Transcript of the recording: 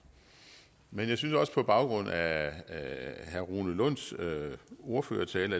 men på baggrund af herre rune lunds ordførertale